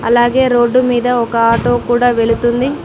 అలాగే రోడ్డు మీద ఒక ఆటో కూడా వెళుతుంది.